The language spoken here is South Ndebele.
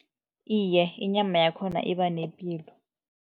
Iye, inyama yakhona iba nepilo.